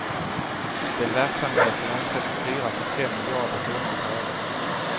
Den verksamheten omsätter fyra till fem miljarder kronor per år.